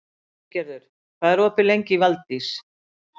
Freygerður, hvað er opið lengi í Valdís?